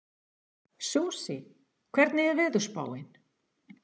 Susie, hvernig er veðurspáin?